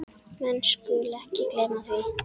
Menn skulu ekki gleyma því.